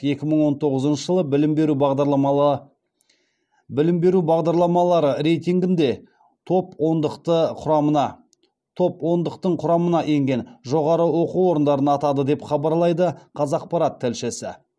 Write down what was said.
екі мың он тоғызыншы жылы білім беру бағдарламалары рейтингінде топ ондықты құрамына енген жоғары оқу орындарын атады деп хабарлайды қазақпарат тілшісі